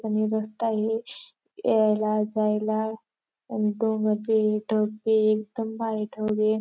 कमी रस्ताए यायला जायला अन डोंगर बीए ढग बीए एकदम भारी ठेवलीए.